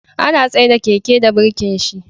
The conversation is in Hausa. Ana tsaida Keke da birkin shi